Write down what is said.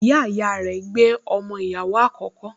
Ìyáàyá rẹ̀ gbé ọmọ ìyàwó àkókò